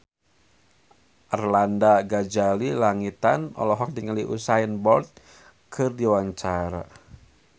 Arlanda Ghazali Langitan olohok ningali Usain Bolt keur diwawancara